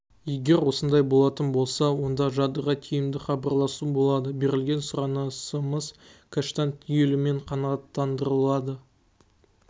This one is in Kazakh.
егер осындай болатын болса онда жадыға тиімді хабарласу болады берілген сұранысымыз кэштан түгелімен қанағаттандырылады